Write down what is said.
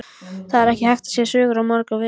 Það er hægt að segja sögur á svo marga vegu.